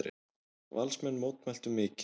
Valsmenn mótmæltu mikið.